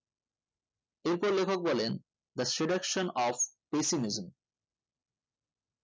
এতে লেখন বলেন the seduction of pessimism